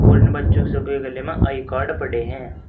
और इन बच्चों सभी के गले में आई कार्ड पड़े हैं।